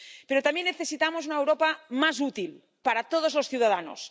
Pero también necesitamos una Europa más útil para todos los ciudadanos.